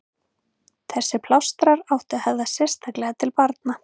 Þessir plástrar áttu að höfða sérstaklega til barna.